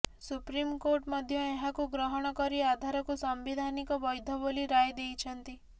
supreme court ମଧ୍ୟ ଏହାକୁ ଗ୍ରହଣ କରି ଆଧାରକୁ ସାମ୍ବିଧାନିକ ବ୘ଧ ବୋଲି ରାୟ ଦେଇଛନ୍ତି